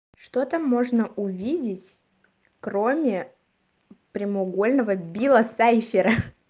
что там можно увидеть кроме прямоугольного билла сайфера